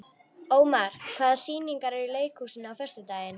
Ómar, hvaða sýningar eru í leikhúsinu á föstudaginn?